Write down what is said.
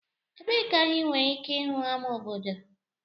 Ebee ka anyị nwere ike ịhụ ama obodo?